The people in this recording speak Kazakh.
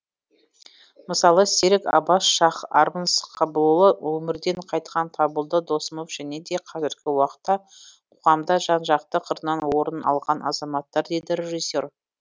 мысалы серік абас шах армн сқабылұлы өмірден қайтқан табылды досымов және де қазіргі уақытта қоғамда жан жақты қырынан орын алған азаматтар дейді режиссер